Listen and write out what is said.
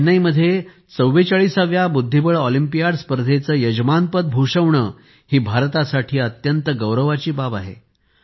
चेन्नईमध्ये 44 व्या बुद्धिबळ ऑलिम्पियाड स्पर्धेचे यजमानपद भूषविणे ही भारतासाठी अत्यंत गौरवाची बाब आहे